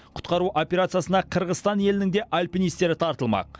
құтқару операциясына қырғызстан елінің де альпинистері тартылмақ